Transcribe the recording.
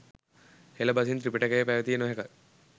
හෙළ බසින් ත්‍රිපිටකය පැවතිය නොහැක